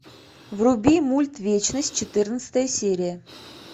вруби мульт вечность четырнадцатая серия